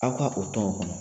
Aw ka o tɔn o kun